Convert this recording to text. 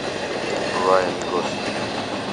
райан гослинг